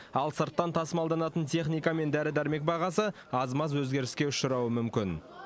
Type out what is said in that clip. ал сырттан тасымалданатын техника мен дәрі дәрмек бағасы аз маз өзгеріске ұшырауы мүмкін